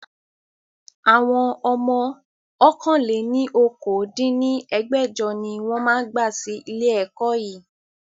Àwọn ọmọ ọ̀kan-lé-ní-okòó dín ní ẹgbẹ́jọ ni wọn máa gba sì ilé ẹ̀kọ́ yii